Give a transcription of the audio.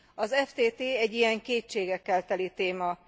Az ftt egy ilyen kétségekkel teli téma.